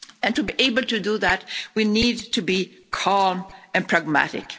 To be able to do that, we need to be calm and pragmatic.